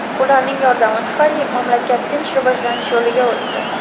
Ularning yordami tufayli mamlakat tinch rivojlanish yo‘liga o‘tdi.